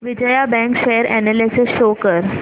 Vijaya bank share analysis show कर